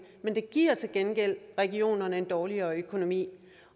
det giver til gengæld regionerne en dårligere økonomi